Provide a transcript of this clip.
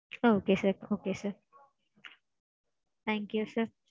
Okay sir okay sir. thank you sir.